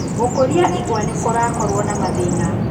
Gũkũria igwa nĩkurakowo na mathĩna.